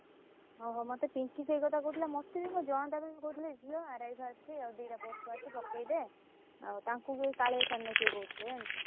ଓ ହୋ ମତେ ପିଙ୍କି ସେଇ କଥା କହୁଥିଲା ଯିବା RI ବାହାରିଛି ଆଉ ଦି ଟା post ବାହାରିଚି ପକେଇଦେ ଆଉ ତାଙ୍କୁ ଯଉ କାଳିଆ sir ନା କିଏ କହୁଥିଲେ ଜାଣିଚୁ।